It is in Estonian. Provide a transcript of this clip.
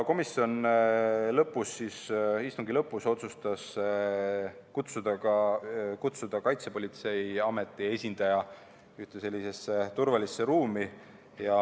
Komisjon istungi lõpus otsustas kutsuda ka Kaitsepolitseiameti esindaja ühte sellisesse turvalisse ruumi.